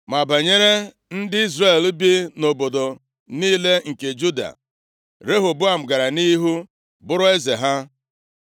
Ma banyere ndị Izrel bi nʼobodo niile nke Juda, Rehoboam gara nʼihu bụrụ eze ha.